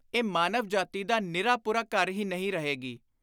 ਇਹ ਮਾਨਵ ਜਾਤੀ ਦਾ ਨਿਰਾ ਪੁਰਾ ਘਰ ਹੀ ਨਹੀਂ ਰਹੇਗੀ,